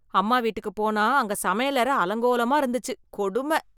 அம்மா வீட்டிக்கு போனா அங்க சமையலறை அலங்கோலமா இருந்துச்ச்சு, கொடும.